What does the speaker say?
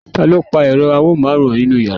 taló pa èro amóhùnmáwòrán inú yàrá?